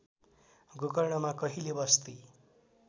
गोकर्णमा कहिले बस्ती